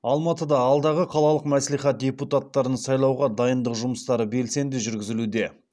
алматыда алдағы қалалық мәслихат депутаттарын сайлауға дайындық жұмыстары белсенді жүргізілуде